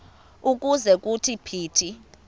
ukuze kuthi phithi